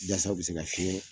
Yasa u bɛ se ka fiɲɛ